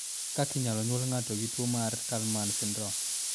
Ere kaka inyalo nyuol ngato gi tuwo mar Kallmann syndrome?